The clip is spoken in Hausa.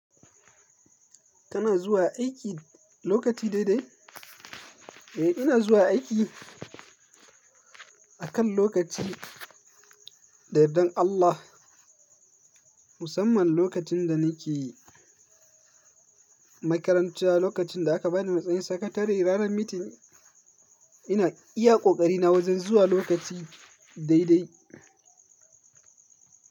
Kana zuwa aiki lokaci daidai? Eh, ina zuwa aiki akan lokaci, da yardan Allah. Musamman lokacin da nake makaranta, lokacin da aka ba ni matsayin sakatare ranar meeting, ina iya ƙoƙari na wajen zuwa lokaci daidai.